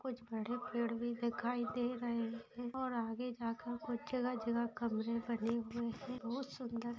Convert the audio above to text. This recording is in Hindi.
कुछ बड़े पेड़ भी दिखाई दे रहे हैं और आगे जा कर कुछ जगह-जगह कमरे बने हुए हैं बहुत सुंदर।